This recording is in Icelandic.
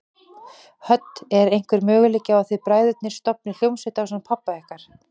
Hödd: Er einhver möguleiki á að þið bræðurnir stofnið hljómsveit ásamt pabba ykkar?